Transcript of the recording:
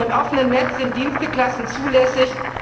Schon im offenen Netz sind Diensteklassen zulässig.